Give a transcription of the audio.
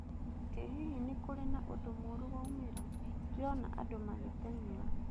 Ĩ hihi nĩ kũrĩ na ũndũ mũrũ waumĩra? Ndĩrona andu magĩteng'era.